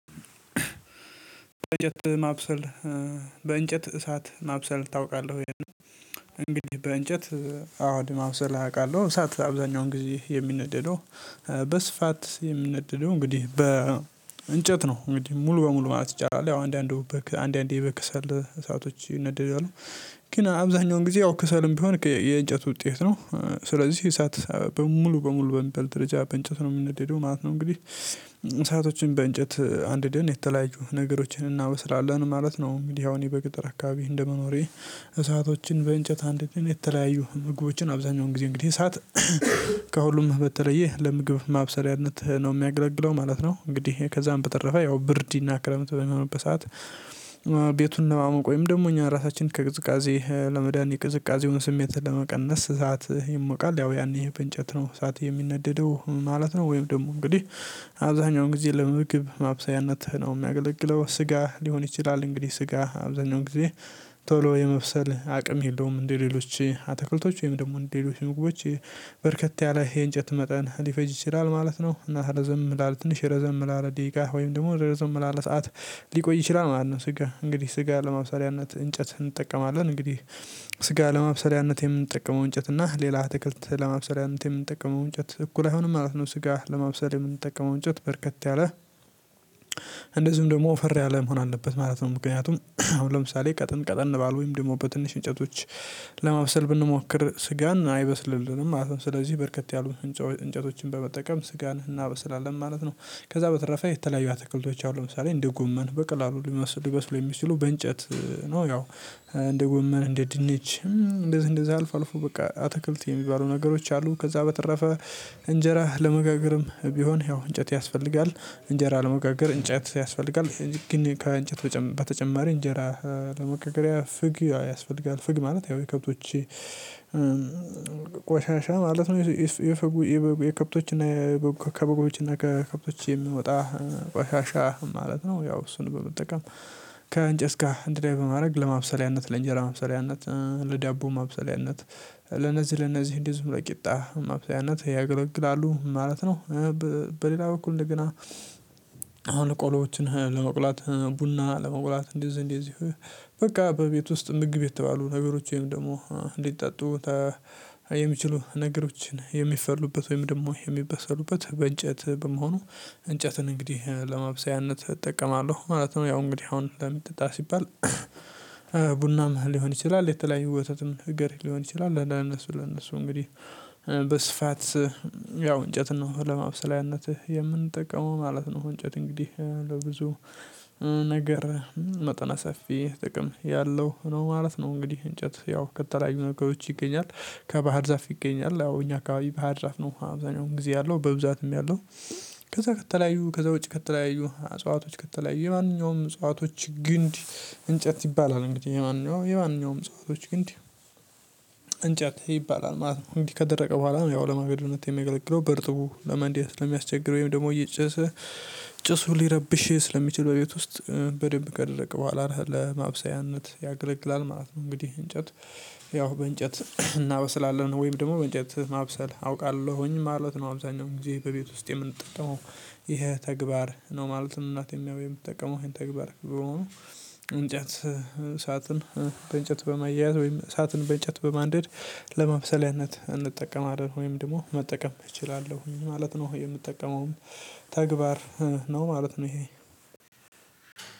በእንጨት ማብሰል በእንጨት እሳት ማብሰል ታውቃለህ ወይ? እንግዲህ በእንጨት አዎ እንዲህ ማብሰል አውቃለሁ እሳት አብዛኛውን ጊዜ የሚነደደው በስፋት የሚነደደው እንግዲህ በ እንጨት ነው እንግዲህ ሙሉ በሙሉ ማለት ይቻላል ያው አንዳንዱ በከ አንዳንዴ በክሰል እሳቶች ይነደዳሉ ግን አብዛኛውን ጊዜ ያው ክሰልም ቢሆን የእንጨት ውጤት ነው ስለዚህ እሳት በሙሉ በሙሉ በሚበል ደረጃ በእንጨት ነው የሚነደደው ማለት ነው እንግዲህ እሳቶችን በእንጨት አንድደን የተለያዩ ነገሮችን እናበስራለን ማለት ነው። እኔ አሁን በገጠር አካባቢ እንደመኖሬ እሳቶችን በእንጨት አንድደን የተለያዩ ምግቦችን አብዛኛውን ጊዜ እንግዲህ ሰዓት ከሁሉም በተለየ ለምግብ ማብሰሪያነት ነው የሚያገለግለው ማለት ነው። እንግዲህ ከዛም በተረፈ ያው ብርዲና ክረምት በሚሆንበት ሰዓት ቤቱን ለማመቅ ወይም ደግሞ እኛ ራሳችንን ከቅዝቃዜ ለመዳኒ ቅዝቃዜውን ስሜት ለመቀነስ እሳት ይሞቃል ያው ያኔ በእንጨት ነው እሳት የሚነደደው ማለት ነው። ወይም ደግሞ እንግዲህ አብዛኛውን ጊዜ ለመምግብ ማብሰያነትህ ነው የሚያገለግለው ስጋ ሊሆን ይችላል እንግዲህ ስጋ አብዛኛው ጊዜ ቶሎ የመብሰል አቅም የለውም እንደሌሎች አትክልቶች ወይም ደግሞ እንደሌሎች ምግቦች በርከት ያለ የእንጨት መጠን ሊፈጅ ይችላል ማለት ነው። እና ረዘም ላለ ትንሽ ረዘም ላለ ደቂቃ ወይም ደግሞ ረዘም ላለ ሰዓት ሊቆይ ይችላል ማለት ነው። ስጋ እንግዲህ ስጋ ለማብሰሪያነት እንጨት እንጠቀማለን እንግዲህ ስጋ ለማብሰሪያነት የምንጠቀመው እንጨት እና ሌላ አትክልት ለማብሰሪያነት የምንጠቀመው እንጨት እኩል አይሆንም ማለት ነው። ስጋ ለማብሰል የምንጠቀመው እንጨት በርከት ያለ እንደዚሁም ደግሞ ወፈር ያለ መሆን አለበት ማለት ነው። ምክንያቱም አሁን ለምሳሌ ቀጥን ቀጥን ባሉ ወይም ደግሞ በትንሽ እንጨቶች ለማብሰል ብንሞክር ስጋን አይበስልልንም ማለት ነው። ስለዚህ በርከት ያሉ እንጨ እንጨቶችን በመጠቀም ስጋን እናበስላለን ማለት ነው። ከዛ በተረፈ የተለያዩ አትክልቶች አሉ ለምሳሌ እንደ ጎመን በቀላሉ ልበስ ሊበስሉ የሚችሉ በእንጨት ነው ያው እንደ ጎመን እንደ ድንች እንደዚህ እንደዛ አልፎ አልፎ በቃ አትክልት የሚባሉ ነገሮች አሉ። ከዛ በተረፈ እንጀራ ለመጋገርም ቢሆን ያው እንጨት ያስፈልጋል እንጀራ ለመጋገር እንጨት ያስፈልጋል ግን ከእንጨት በተጨማሪ እንጀራ ለመጋገሪያ ፍግ ያስፈልጋል ፍግ ማለት የው የከብቶች ቆሻሻ ማለት ነው። የከብቶችና ከበጎችና ከከብቶች የምወጣ ቋሻሻ ማለት ነው ያው እሱን በመጠቀም ከእንጨት ጋር አንድ ላይ በማድረግ ለማብሰለያነት ለእንጀራ ማብሰለያነት ለዳቦ ማብሰሊያነት ለነዚህ ለነዚህ እንደዚሁም ለቂጣ ማብሰሊያነት ያገለግላሉ ማለት ነው። በሌላ በኩል እንደገና ቆሎዎችን ለመቁላት ቡና ለመቁላት እንደዚህ እንደዚህ በቃ በቤት ውስጥ ምግብ የተባሉ ነገሮች ወይም ደግሞ እንዲጠጡ ተ የሚችሉ ነገሮችን የሚፈሉበት ወይም ደግሞ የሚበሰሉበት በእንጨት በመሆኑ እንጨትን እንግዲህ ለማብሰያነት እጠቀማለሁ ማለት ነው። ያው እንግዲህ አሁን ለሚጠጣ ሲባል ሊሆን ይችላል የተለያዩ ወተትም ነገር ሊሆን ይችላል ለነሱ ለነሱ እንግዲህ በስፋት ያው እንጨትን ነው ለማብሰሊያነትህ የምንጠቀመው ማለት ነው። እንጨት እንግዲህ ለብዙ ነገር መጠነ ሰፊ ጥቅም ያለው ነው ማለት ነው። እንግዲህ እንጨት ያው ከተለያዩ ነገሮች ይገኛል ከባህር ዛፍ ይገኛል ያው እኛ አካባቢ በሃድራፍ ነው አብዛኛው ጊዜ ያለው በብዛትም ያለው ከዛ ከተለያዩ ከዛ ውጪ ከተለያዩ አጽዋቶች ከተለያዩ የማንኛውም እጽዋቶች ግንድ እንጨት ሲባል እንግዲህ የማንኛውም የማንኛውም እጽዋቶች ግንድ እንጨት ይባላል ማለት ነው። እንግዲህ ከደረቀ በኋላ ያው ለማገዶነት የሚያገለግለው በርጥቡ ለማንደድ ስለሚያስቸግር ወይም ደግሞ እየጨሰ ጭሱ ሊረብሽ ስለሚችል በቤት ውስጥ በደንብ ከደረቀ በኋላ ለማብሰያነት ያገለግላል ማለት ነው። እንግዲህ እንጨት ያው በእንጨት እናበስላለን ወይም ደግሞ በእንጨት ማብሰል አውቃለሁኝ ማለት ነው አብዛኛው ጊዜ በቤት ውስጥ የምንጠቀመው ይሄ ተግባር ነው ማለትም እናቴም ያው የምትጠቀመው ይሄን ተግባር በመሆኑ። እንጨት እሳትን በእንጨት በማያያዝ ወይም እሳትን በእንጨት በማንደድ ለማብሰልያነት እንጠቀማለን ወይም ደግሞ መጠቀም እችላለሁኝ ማለት ነው የምጠቀመውም ተግባር ነው ማለት ነው። ይሄ